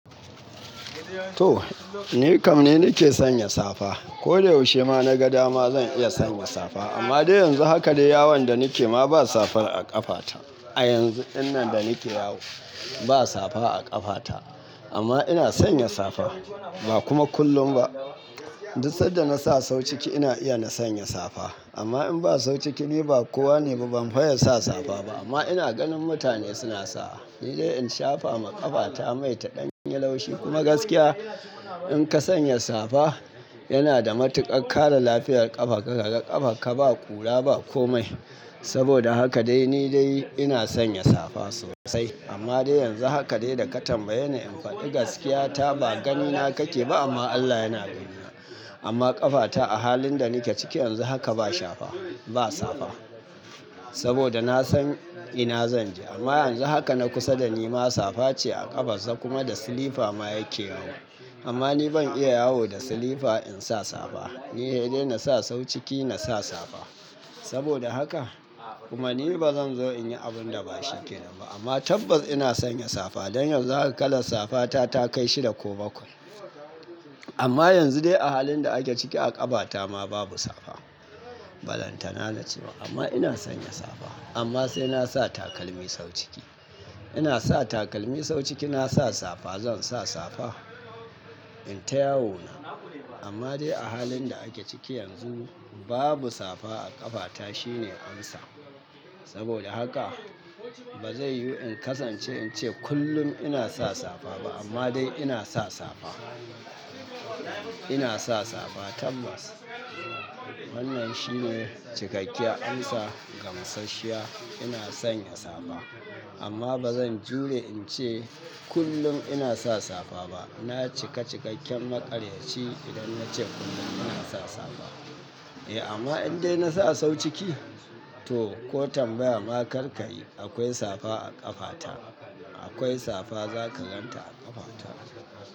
To, ni kam ne nake sanya safa. Ko dayaushe ma na ga dama zan iya sanya safa amma dai yanzu haka dai yawon da nake ma ba safa a ƙafata. A yanzu dinnan da nake yawo ba safa a ƙafata amma ina sanya safa ba kuma kullum ba. Duk sanda na sa sau ciki ina iya na sanya safa amma in ba sau ciki ne ba kowa ne ba ban faye sa safa ba amma ina ganin mutane suna sa. Ni dai in shafa ma ƙafata mai ta ɗan yin laushi kuma gaskiya in ka sanya safa yana da matuƙar kare lafiyar ƙafa ka, ka ga ƙafarka ba ƙura, ba komai. Saboda haka dai ni dai ina sanya safa sosai amma dai yanzu haka dai da ka tambaye ni in faɗi gaskiya ta ba gani na kake ba amma Allah yana gani na. Amma ƙafata a halin da nake ciki yanzu haka ba shafa, ba safa. Saboda na san ina zan je amma yanzu haka na kusa da ni ma safa ce a ƙafarsa kuma da silifa ma yake yawo. Amma ni ban iya yawo da silifa in sa safa. Ni dai na sa sau ciki na sa safa. Saboda haka kuma ni ba zan zo in yi abun da ba shikena ba amma tabbas ina san ya safa. Dan yanzu haka kalla safa ta takai shida ko bakwai amma yanzu dai a hallin da ake ciki a kafa ta ma babu safa. Ballantan na ciba amma ina sanya safa amma sai na sa takalmi sau ciki. Ina sa takalmi sau ciki na sa safa zan sa safa in ta yawo na. Amma dai a halin da ake ciki yanzu babu safa a ƙafata shine amsa. Saboda haka ba zai yiwu in kasance in ce kullum ina sa safa ba amma dai ina sa safa. Ina sa safa tabbas. Wannan shine cikakiyar amsa gamsashiya ina sanya safa amma ba zan jure in ce kullun ina sa safa ba. Na cika cikakken maƙaryaci idan na ce kullum ina sa safa. Eh amma in dai na sa sau ciki to ko tambaya ma kar kayi akwai safa a ƙafata. Akwai safa za ka gan ta a ƙafata.